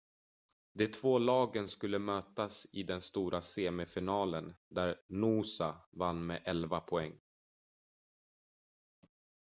de två lagen skulle mötas i den stora semifinalen där noosa vann med 11 poäng